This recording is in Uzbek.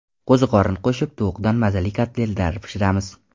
Qo‘ziqorin qo‘shib tovuqdan mazali kotletlar pishiramiz.